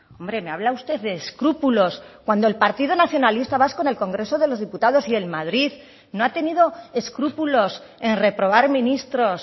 hombre me habla usted de escrúpulos cuando el partido nacionalista vasco en el congreso de los diputados y en madrid no ha tenido escrúpulos en reprobar ministros